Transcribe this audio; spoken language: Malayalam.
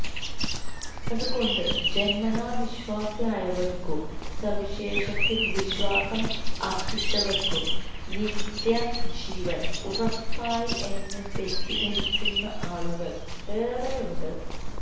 അതുകൊണ്ടു ജന്മനാവിശ്വാസി ആയവർക്കും സുവിശേഷത്തിൽ വിശ്വാസം അർപ്പിച്ചവർക്കും നിത്യജീവൻ ഉറപ്പായി എന്ന്തെറ്റിദ്ധരിക്കുന്ന ആളുകൾ ഏറെഉണ്ട്